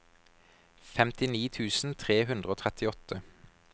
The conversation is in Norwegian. femtini tusen tre hundre og trettiåtte